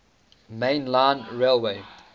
main line railway